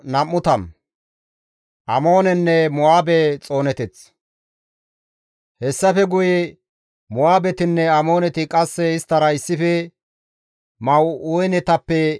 Hessafe guye Mo7aabetinne Amooneti qasse isttara issife Ma7uunetappe amardayti Iyoosaafixe bolla worajjida.